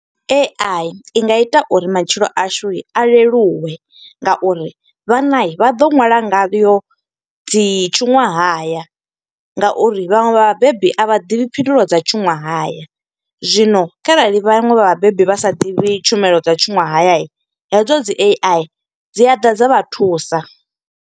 A_I i nga ita uri matshilo ashu a leluwe nga uri vhana vha ḓo nwala ngayo dzi tshuṅwahaya, nga uri vhaṅwe vha vhabebi a vha ḓivhi phindulo dza tshuṅwahaya. Zwino kharali vhanwe vha vhabebi vha sa ḓivhi tshumelo dza tshuṅwahaya, hedzo dzi A_I dzi a ḓa dza vha thusa.